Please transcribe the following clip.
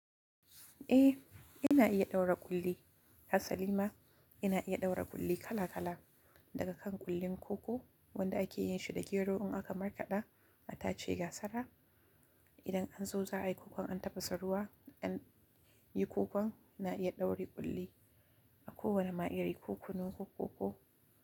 Eh, ina iya ɗaura ƙulli. Ha salima, ina iya ɗaura ƙulli kala kala daga kan ƙullin koko wanda ake yin shi da gero in aka markaɗa, a tace gasara. Idan an zo za a yi kukan an tafasa ruwa, an yi kukan, na iya daure ƙulli a kowanne na iyayi. Ko kunu ko koko.